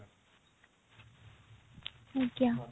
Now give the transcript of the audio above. ଆଜ୍ଞା